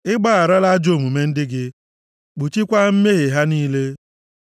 I gbagharala ajọ omume ndị gị, kpuchikwaa mmehie ha niile. Sela